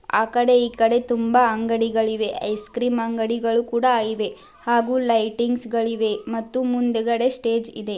ಆಕಡೆ ಈಕಡೆ ತುಂಬಾ ಅಂಗಡಿಗಳಿವೆ .ಐಸ್ ಕ್ರೀಮ್ ಅಂಗಡಿಗಳು ಕೂಡ ಇವೆ . ಹಾಗು ಲೈಟಿಂಗ್ಸ್ ಗಳಿವೆ ಮತ್ತು ಮುಂದ್ಗಡೆ ಸ್ಟೇಜ್ ಇದೆ.